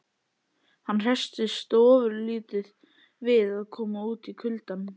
Hann hresstist ofurlítið við að koma út í kuldann.